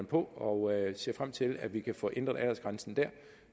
på og jeg ser frem til at vi kan få ændret aldersgrænsen dér